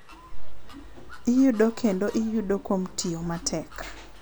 Iyudo kendo iyudo kuom tiyo matek.